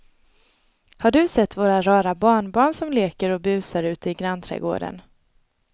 Har du sett våra rara barnbarn som leker och busar ute i grannträdgården!